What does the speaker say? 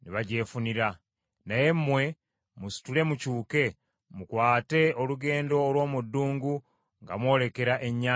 Naye mmwe, musitule mukyuke, mukwate olugendo olw’omu ddungu nga mwolekera Ennyanja Emyufu.”